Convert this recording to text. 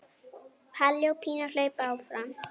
Palli og Pína hlaupa fram.